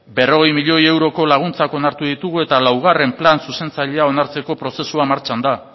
berrogei milioi euroko laguntzak onartu ditugu eta laugarren plan zuzentzailea onartzeko prozesua martxan da